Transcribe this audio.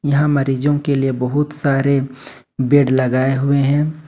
यहां मरीजों के लिए बहुत सारे बेड लगाए हुए है।